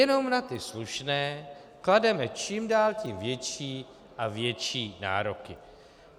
Jenom na ty slušné klademe čím dál tím větší a větší nároky.